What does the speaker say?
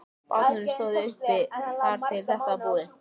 Bátarnir stóðu uppi þar til þetta var búið.